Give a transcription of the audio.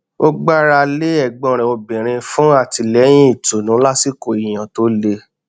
ó gbára lé ẹgbọn rẹ obìnrin fún àtìlẹyìn ìtùnú lásìkò ìyàn tó le